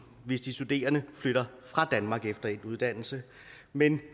hvis de studerende flytter fra danmark efter endt uddannelse men